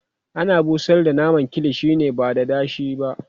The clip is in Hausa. ana busar da naman kilishi ne ba dada shi ba